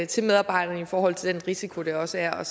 til medarbejderne i forhold til den risiko der også er